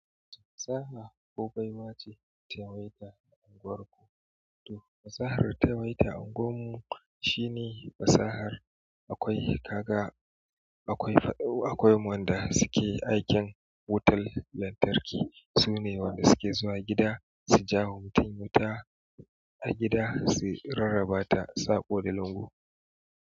Fasaha ko baiwa ce ta yawaita a unguwarku? To fasahar da ta yawaita unguwar mu shine fasahar akwai kaga, akwai faɗau akwai wanda suke aikin wutan lantarki. Sune wanda suke zuwa gida su jawo wa mutum wuta a gida su rarraba ta saƙo da lungu.